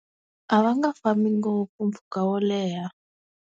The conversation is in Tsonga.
A va nga fambi ngopfu mpfhuka wo leha.